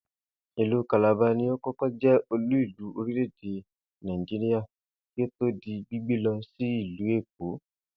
Ìlú Calabar ni ó kó̩kó̩ jé̩ olú-ìlú orílè̩-èdè Nàìjíríà kí ó tó di gbígbé lo̩ sí ìlú Èkó